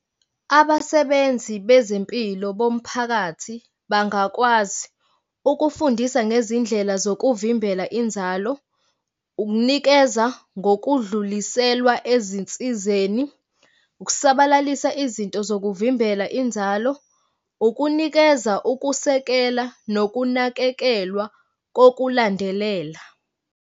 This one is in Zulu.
Abasebenzi bezempilo bomphakathi bangakwazi ukufundisa ngezindlela zokuvimbela inzalo, ukunikeza ngokudluliselwa ezinsizeni, ukusabalalisa izinto zokuvimbela inzalo, ukunikeza ukusekela nokunakekelwa kokulandelela.